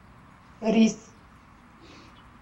рис